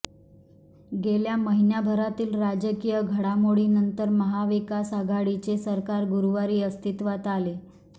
गेल्या महिनाभरातल्या राजकीय घडामोडीनंतर महाविकास आघाडीचे सरकार गुरुवारी अस्तित्वात आले